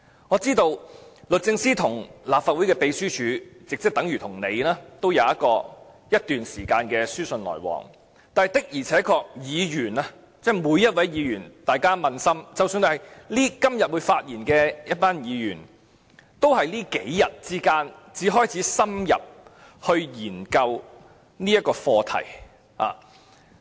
我知道律政司與立法會秘書處已有一段時間的書信往來，但我想請每位議員撫心自問，即使是今天會發言的一群議員，他們也是在這數天才開始深入研究這項課題。